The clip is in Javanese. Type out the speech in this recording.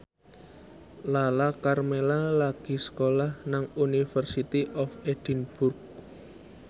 Lala Karmela lagi sekolah nang University of Edinburgh